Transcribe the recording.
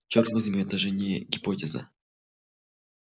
чёрт возьми это же не гипотеза